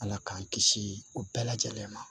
Ala k'an kisi o bɛɛ lajɛlen ma